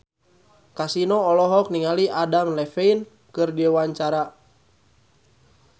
Kasino olohok ningali Adam Levine keur diwawancara